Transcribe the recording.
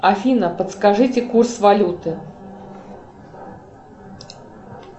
афина подскажите курс валюты